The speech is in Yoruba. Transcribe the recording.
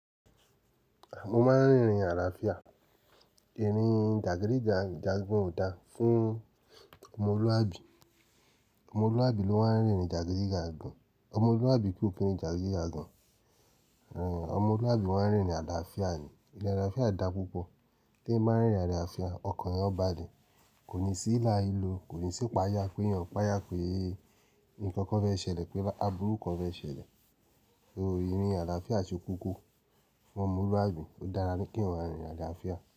Mo máa ń rìnrìn àlàáfíà. Ìrin jàgídí jàgan ò dáa fún ọmọlúwàbí. Ọmọlúwàbí ló máa ń rìnrin jàgídí jàgan. Ọmọlúwàbí kò kin rin jàgídí jàgan. Rin, ọmọlúwàbí máa ń rìnrin àlàáfíà ni. Ìrin àlàáfíà dá púpọ̀. Tí ń báa ń rìnrin àlàáfíà, ọkàn ẹ ó bá lẹ. Kò ní sí ílà ílo, kò ní sí ìpáyà, pé èyàn páyà pe Nǹkan kan fẹ́ ṣẹlẹ̀, pé àbúrò kan fẹ́ ṣẹlẹ̀. So, ìrin àlàáfíà ṣe kókó. F'ọmọlúwàbí ó dára kí ènìyàn máa rìnrìn àlàáfíà.